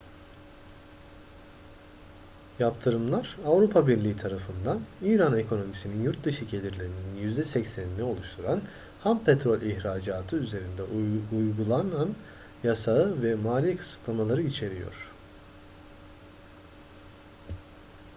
yaptırımlar avrupa birliği tarafından i̇ran ekonomisinin yurt dışı gelirlerinin %80'ini oluşturan ham petrol ihracatı üzerinde uygulan yasağı ve mali kısıtlamaları içeriyor